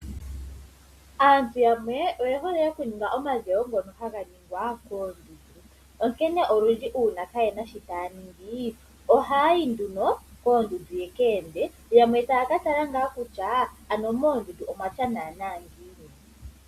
Aantu yamwe oye hole okuninga omadhewo ngono haga ningwa koondundu. Onkene olundji uuna kaayena shoka taya ningi ohayayi nduno koondundu ya ka ende, yamwe taya ka tala ngaa kutya ano moondundu omwatya naana ngiini.